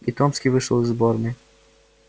и томский вышел из уборной